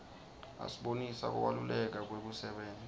asibonisa kubalaleka kwekusebenta